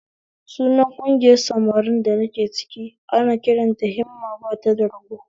Sunan ƙungiyar samarin da nike ciki ana kiranta da 'Himma bata ga rago'?